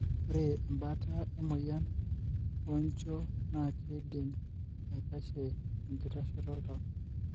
Ore embaata emoyian onjio na kidim aikashie enkitasheto oltau.